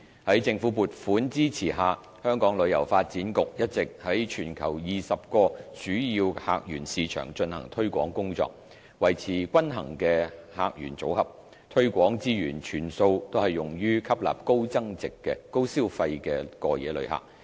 在政府撥款支持下，香港旅遊發展局一直在全球20個主要客源市場進行推廣工作，維持均衡的客源組合，推廣資源全數均用於吸納高消費的過夜旅客。